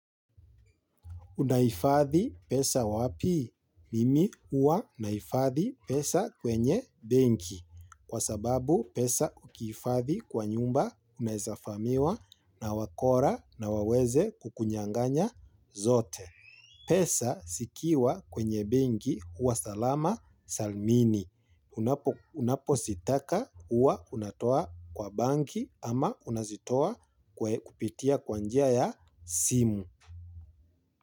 Unahifathi pesa wapi? Mimi huwa nahifathi pesa kwenye benki. Kwa sababu pesa ukihifathi kwa nyumba mnaeza vamiwa na wakora na waweze kukunyanganya zote. Pesa zikiwa kwenye benki huwa salama salmini. Unapo zitaka huwa unatoa kwa banki ama unazitoa kupitia kwa njia ya simu.